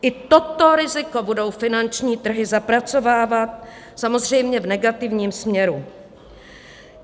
I toto riziko budou finanční trhy zapracovávat, samozřejmě v negativním směru.